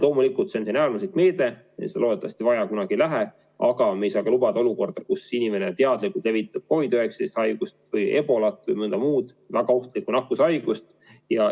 Loomulikult, see on äärmuslik meede ja seda loodetavasti vaja ei lähe, aga me ei saa lubada olukorda, kus inimene teadlikult levitab COVID-19 haigust või ebolat või mõnda muud väga ohtlikku nakkushaigust.